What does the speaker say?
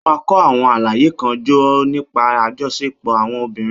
Ó máa kó àwọn àlàyé kan jọ nípa àjọṣepọ̀ àwọn obìnrin.